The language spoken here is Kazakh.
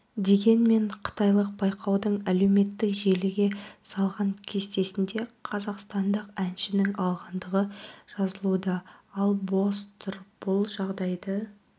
дегенмен қытайлық байқаудың әлеуметтік желіге салған кестесінде қазақстандық әншінің алғандығы жазылуда ал бос тұр бұл жағдайды